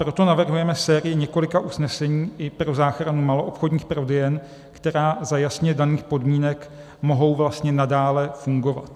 Proto navrhujeme sérii několika usnesení i pro záchranu maloobchodních prodejen, které za jasně daných podmínek mohou vlastně nadále fungovat.